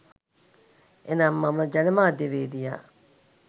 එනම් එම ජනමාධ්‍යවේදියා